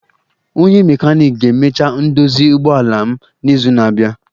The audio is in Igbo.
Onye mekaniiki ga-emecha ndozi ụgbọala m n'izu na-abia